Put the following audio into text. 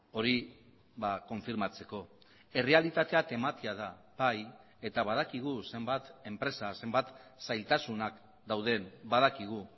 hori konfirmatzeko errealitatea tematia da bai eta badakigu zenbat enpresa zenbat zailtasunak dauden badakigu